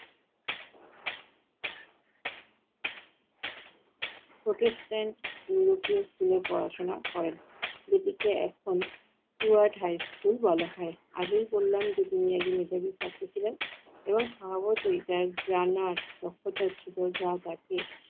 protestant europio school এ পড়াশোনা করেন। যেটিকে এখন, Stuart High School বলা হয়। আগেই বললাম যে তিনি একজন মেধাবী ছাত্র ছিলেন এবং স্বভাবতই তার জানার দক্ষতা ছিল যা তাকে